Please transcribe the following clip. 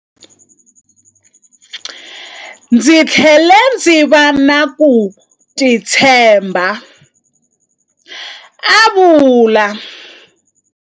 Ndzi tlhele ndzi va na ku titshemba, a vula.